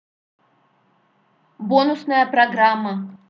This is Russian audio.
бонусная программа